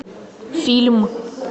фильм